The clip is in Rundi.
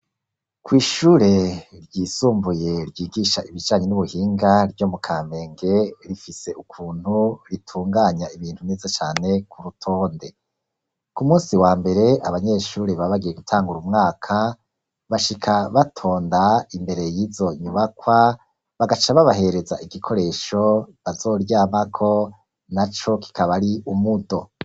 Kw'ishure ryisumbuye ryigisha ibijanye n'ubuhinga ryo mu kamenge, rifise ukuntu ritunganya ibintu neza cane ku rutonde. Ku munsi wa mbere abanyeshuri baba bagiye gutangura umwaka ,bashika batonda imbere y'izo nyubakwa bagaca babahereza igikoresho bazoryamako, na co kikaba ari umudo.